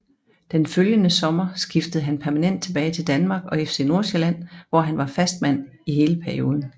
Den følgende sommer skiftede han permanent tilbage til Danmark og FC Nordsjælland hvor han var fastmand i hele perioden